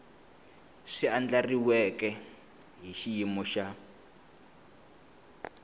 swi andlariweke hi xiyimo xa